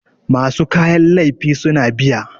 masu kayan laifi suna biya